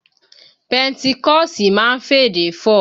Pẹńtíkọ̀sì máa ń f'èdè fọ̀